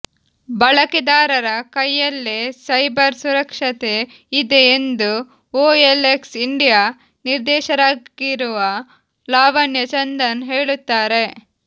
ಬಳಕೆದಾರರ ಕೈಯಲ್ಲೇ ಸೈಬರ್ ಸುರಕ್ಷತೆ ಇದೆ ಎಂದು ಒಎಲ್ಎಕ್ಸ್ ಇಂಡಿಯಾ ನಿರ್ದೇಶಕರಾಗಿರುವ ಲಾವಣ್ಯ ಚಂದನ್ ಹೇಳುತ್ತಾರೆ